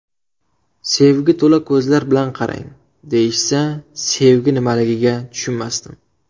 Sevgi to‘la ko‘zlar bilan qarang, deyishsa, sevgi nimaligiga tushunmasdim.